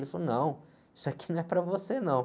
Ele falou, não, isso aqui não é para você, não.